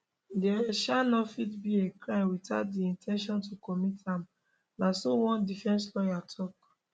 dia um no fit be a crime without di in ten tion to commit am na so one defence lawyer tok